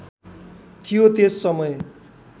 थियो त्यस समय